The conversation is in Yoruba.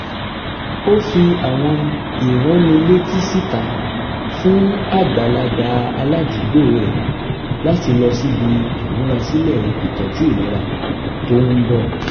ó fi àwọn ìránnilétí síta fún àgbàlagbà aládùúgbò rẹ̀ láti lọ síbi ìmúrasílẹ̀ ìtọ́jú ìlera tó ń bọ̀